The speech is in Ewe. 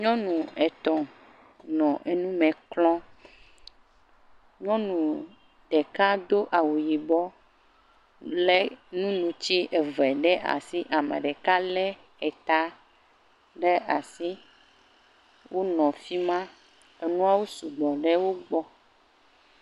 Nyɔnu etɔ̃ nɔ nume klɔm. Nyɔnu ɖeka do awu yibɔɔ lé nunutsi eve ɖe asi. Ame ɖeka lé eta ɖe asi. Wonɔ fi ma. Enuawo sugbɔ ɖe wogbɔ.